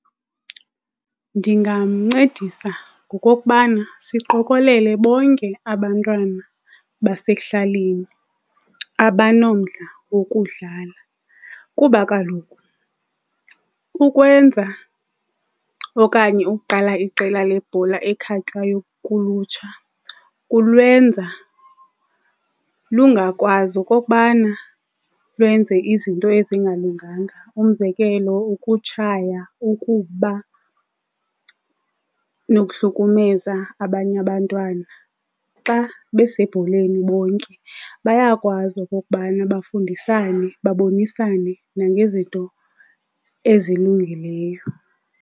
Ndingamncedisa ngokokubana siqokolele bonke abantwana basekuhlaleni abanomdla wokudlala. Kuba kaloku ukwenza okanye ukuqala iqela lebhola ekhatywayo kulutsha kulwenza lungakwazi okokubana lwenze izinto ezingalunganga, umzekelo ukutshaya, ukuba nokuhlukumeza abanye abantwana. Xa besebholeni bonke bayakwazi okokubana bafundisane, babonisane nangezinto ezilungileyo.